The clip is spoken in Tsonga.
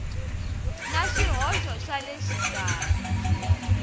na swihoxo swa le xikarhi